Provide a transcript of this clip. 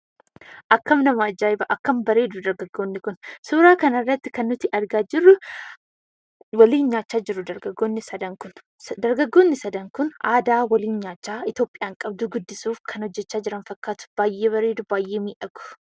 Akkam nama ajaa'iba akkam bareedu dargaggoonni kun! Suuraa kanarratti kan nuti argaa jirru waliin nyaachaa jiru dargaggoonni sadan kun. Dargaggoonni sadan kun aadaa waliin nyaachaa Itoophiyaan qabdu guddisuuf kan hojjachaa jiran fakkaatu. Baay'ee bareedu baay'ee miidhagu.